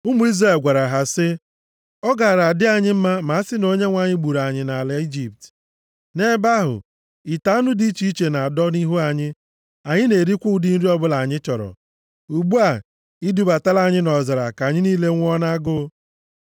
Ụmụ Izrel gwara ha sị, “Ọ gaara adị anyị mma ma a sị na Onyenwe anyị gburu anyị nʼala Ijipt. Nʼebe ahụ ite anụ dị iche iche na-adọ nʼihu anyị, anyị na-erikwa ụdị nri ọbụla anyị chọrọ. Ugbu a, i dubatala anyị nʼọzara ka anyị niile nwụọ nʼagụụ.”